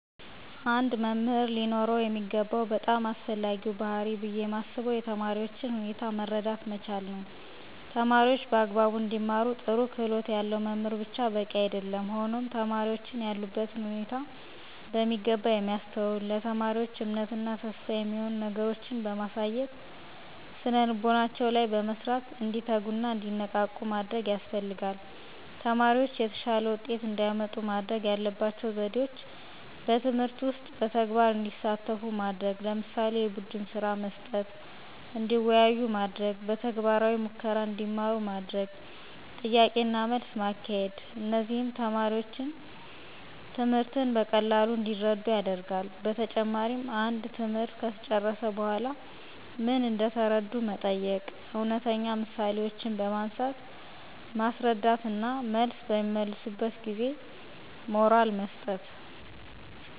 አንድ መምህር ሊኖረው የሚገባው በጣም አስፈላጊው ባህሪይ ብየ ማስበው የተማሪዎችን ሁኔታ መረዳት መቻል ነዉ። ተማሪዎች በአግባቡ እንዲማሩ ጥሩ ክህሎት ያለው መምህር ብቻ በቂ አይደለም ሆኖም ተማሪዎችን ያሉበትን ሁኔታ በሚገባ የሚያስተውል፣ ለተማሪዎች እምነት እና ተስፋ የሚሆኑ ነገሮችን በማሳየት ስነልቦናቸው ላይ በመስራት እንዲተጉና እንዲነቃቁ ማድረግ ያስፈልጋል። ተማሪዎች የተሻለ ውጤት እንዲያመጡ ማድረግ ያለባቸው ዘዴዎች በትምህርት ውስጥ በተግባር እንዲሳተፉ ማድረግ ለምሳሌ፦ የቡድንስራ መስጠት፣ እንዲወያዩ ማድረግ፣ በተግባራዊ ሙከራ እንዲማሩ ማድረግ፣ ጥያቄና መልስ ማካሄድ እነዚህም ተማሪዎች ትምህርትን በቀላሉ እንዲረዱት ያደርጋል። በተጨማሪም አንድ ትምህርት ከተጨረሰ በኃላ ምን እንደተረዱ መጠየቅ፣ እውነተኛ ምሳሌዎችን በማንሳት ማስረዳት እና መልስ በሚመልሱበት ጊዜ ሞራል መስጠት።